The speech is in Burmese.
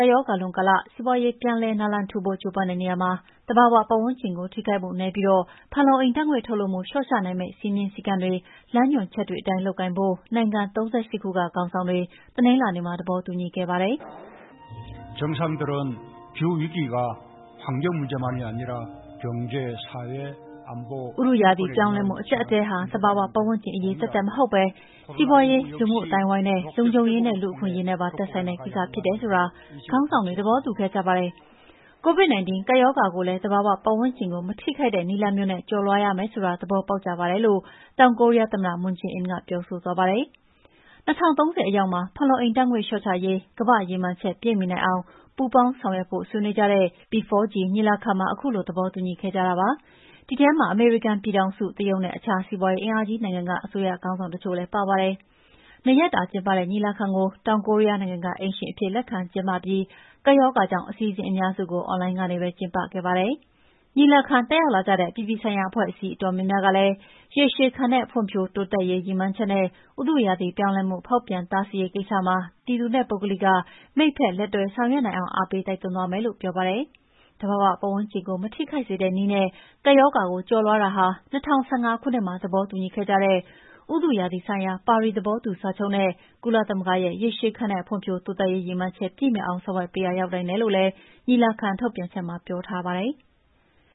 ပ်ရောဂါလွန်ကာလ စီးပွါးရေးပြန်လည်နာလန်ထူဖို့ ကြိုးပမ်းတဲ့နေရာမှာ သဘာဝပတ်ဝန်းကျင်ကို ထိခိုက်မှုနည်းပြီး ဖန်လုံအိမ်ဓာတ်ငွေ့ထုတ်လွှတ်မှုလျော့ချနိုင်မယ့် စည်းမျဉ်းစည်းကမ်းတွေ၊ လမ်းညွှန်ချက်တွေအတိုင်း လုပ်ကိုင်ဖို့ နိုင်ငံ ၃၈ ခုကခေါင်းဆောင်တွေ တနင်္လာနေ့က သဘောတူညီခဲ့ကြပါတယ်။ "ဥတုရာသီပြောင်းလဲမှု အကျပ်အတည်းဟာ သဘာဝပတ်ဝန်းကျင်အရေး သက်သက်မဟုတ်ပဲ စီးပွါးရေး၊ လူမှုအသိုင်းအဝန်း၊ လုံခြုံရေးနဲ့ လူ့အခွင့်အရေးနဲ့ပါ သက်ဆိုင်တဲ့ ကိစ္စဖြစ်တယ်ဆိုတာ ခေါင်းဆောင်တွေ သဘောတူခဲ့ကြပါတယ်။ COVID-19 ကပ်ရောဂါကိုလည်း သဘာဝပတ်ဝန်းကျင်ကို မထိခိုက်တဲ့ နည်းလမ်းမျိုးနဲ့ ကျော်လွှားရမယ်ဆိုတာကိုလည်း သဘောပေါက်ကြပါတယ်။" လို့ တောင်ကိုရီးယားသမ္မတ မွန်းဂျေးအင်းက ပြောဆိုသွားပါတယ်။ ၂၀၃၀ အရောက်မှာ ဖန်လုံအိမ်ဓာတ်ငွေ့လျော့ချရေး ကမ္ဘာ့ရည်မှန်းချက်ပြည့်မှီနိုင်အောင်ပူးပေါင်းဆောင်ရွက်ဖို့ဆွေးနွေးကြတဲ့ P4G ညီလာခံမှာ ခုလိုသဘောတူညီမှု ရခဲ့ကြတာပါ။ ဒီထဲမှာ အမေရိကန်ပြည်ထောင်စု၊ တရုတ်နဲ့ အခြားစီးပါွးရေးအင်အားကြီးနိုင်ငံက အစိုးရခေါင်းဆောင်တချို့လည်း ပါဝင်ပါတယ်။ ၂ ရက်တာကျင်းပတဲ့ ညီလာခံကို တောင်ကိုရီးယားနိုင်ငံက အိမ်ရှင်အဖြစ်လက်ခံ ကျင်းပပြီး ကပ်ရောဂါကြောင့် အစီအစဉ်အများစုကို အွန်လိုင်းကနေပဲ ကျင်းပခဲ့ပါတယ်။ ညီလာခံတက်ရောက်လာကြတဲ့ အပြည်ပြည်ဆိုင်ရာ အဖွဲ့အစည်းအတော်များများကလည်း ရေရှည်ခံတဲ့ ဖွံ့ဖြိုးတိုးတက်မှုရရေးနဲ့ ဥတုရာသီပြောင်းလဲဖောက်ပြန်မှု တားဆီးရေးကိစ္စမှာ ပြည်သူနဲ့ပုဂ္ဂလိက မိတ်ဖက်လက်တွဲဆောင်ရွက်နိုင်အောင် အားပေးတိုက်တွန်းသွားမယ်လို့ ပြောပါတယ်။ သဘာဝပတ်ဝန်းကျင်ကို မထိခိုက်စေတဲ့နည်းနဲ့ ကပ်ရောဂါကို ကျော်လွှားတာက ၂၀၁၅ ခုနှစ်မှာ သဘောတူခဲ့တဲ့ ဥတုရာသီဆိုင်ရာ ပါရီသဘောတူစာချုပ်နဲ့ ကုလသမဂ္ဂရဲ့ ရေရှည်ခံတဲ့ ဖွံ့ဖြိုးတိုးတက်ရေး ရည်မှန်းချက်ပြည့်မှီအောင်ဆောင်ရွက်ပေးရာလည်း ရောက်နိုင်တယ်လို့ ညီလာခံထုတ်ပြန်ချက်မှာ ပြောထားပါတယ်။